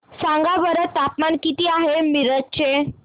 सांगा बरं तापमान किती आहे मिरज चे